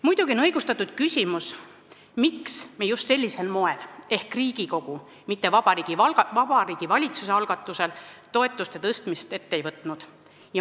Muidugi on õigustatud küsimus, miks me just sellisel moel ehk Riigikogu, mitte Vabariigi Valitsuse algatusel toetuste tõstmist ette ei võtnud.